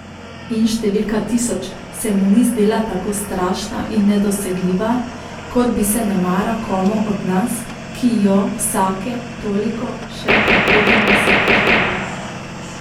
In številka tisoč se mu ni zdela tako strašna in nedosegljiva, kot bi se nemara komu od nas, ki jo vsake toliko še prehodimo s težavo.